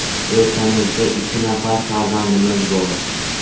O‘rtamizda ikki nafar farzandimiz bor.